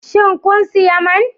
Shin kun sayi man?